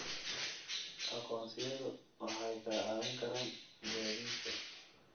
Aqoonsiyadu waxay kaa caawin karaan gaadiidka.